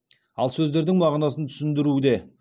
ал сөздердің мағынасын түсіндіруде